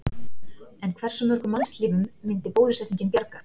En hversu mörgum mannslífum myndi bólusetningin bjarga?